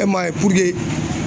E m'a ye puruke